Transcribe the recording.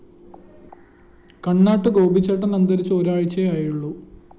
കണ്ണാട്ട് ഗോപിച്ചേട്ടന്‍ അന്തരിച്ച് ഒരാഴ്ചയേ ആയുള്ളൂ